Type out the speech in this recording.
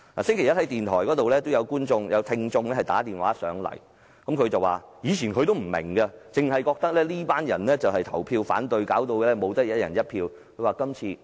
星期一，有一位聽眾致電電台節目，表示他以前也不大明白，只知道有些人投票反對令香港人不能"一人一票"選特首。